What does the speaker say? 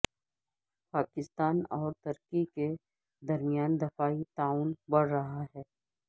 پاکستان اور ترکی کے درمیان دفاعی تعاون بڑھ رہا ہے